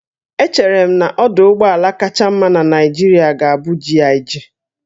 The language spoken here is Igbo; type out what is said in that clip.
Echere m na ọdụ ụgbọ ala kacha mma na Naịjirịa ga-abụ GIG